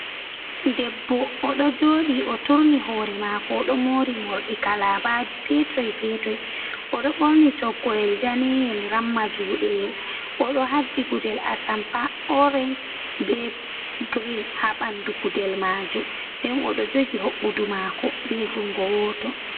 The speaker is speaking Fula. debbo oɗo joɗi o turni hore mako, oɗo mori mordi kalabaji petoi petoi, odo borni toggoyel daneyel ramma judeyel, odo haddi gudel atampa orange be green ha bandu gudel majum, nden odo jogi hobbudu mako be jungo woto.